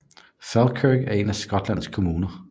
Falkirk er en af Skotlands kommuner